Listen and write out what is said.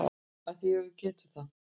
Af því að við getum það.